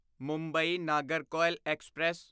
Mumbai Nagercoil express